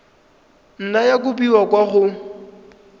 nna ya kopiwa kwa go